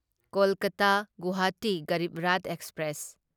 Kolkata Guwahati Garib Rath express